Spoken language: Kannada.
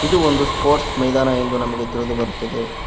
ಇದು ಒಂದು ಸ್ಪೋರ್ಟ್ಸ್ ಮೈದಾನ ಎಂದು ನಮಗೆ ತಿಳಿದು ಬರುತ್ತದೆ.